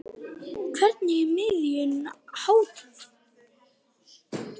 Hvernig er miðunum háttað?